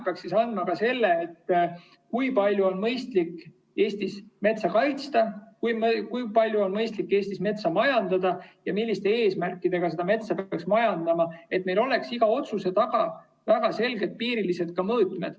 See peaks andma teada ka seda, kui palju on mõistlik Eestis metsa kaitsta, kui palju on mõistlik Eestis metsa majandada ja milliste eesmärkidega seda metsa peaks majandama, et meil oleks iga otsuse taga väga selgepiirilised mõõtmed.